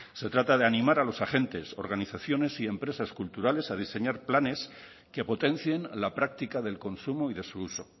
se trata de animar a los agentes organizaciones y empresas culturales a diseñar planes que potencien la práctica del consumo y de su uso